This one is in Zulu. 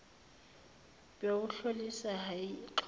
bewuhlosile hheyi xola